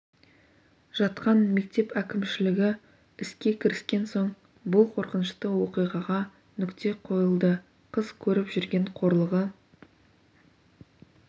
жатқан мектеп әкімшілігі іске кіріскен соң бұл қорқынышты оқиғаға нүкте қойылды қыз көріп жүрген қорлығы